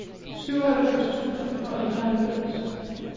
syvoghalvfems tusind og enoghalvfems